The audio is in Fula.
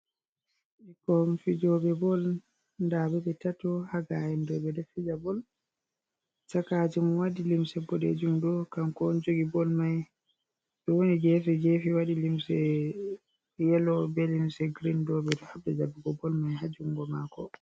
Ɗo bikkoi fijobe bol. Nɗabe be tato ha gayen ɗo be ɗo fija bol. Chakajo mo waɗi limse boɗejum ɗo kanko on jogi bol mai. Be woni gefe gefe waɗi limse yelo be linse girin ɗo be ɗo habɗa jabugo bol mai ha jungo mako.